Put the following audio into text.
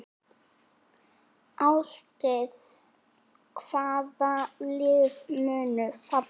Álitið: Hvaða lið munu falla?